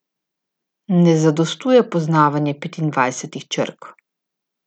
Ne zadostuje poznavanje petindvajsetih črk.